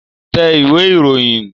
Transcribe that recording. Tẹ ìwé ìròyìn